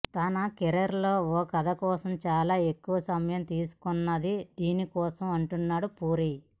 తన కెరీర్లో ఓ కథ కోసం చాలా ఎక్కువ సమయం తీసుకున్నది దీని కోసమే అంటున్నాడు పూరి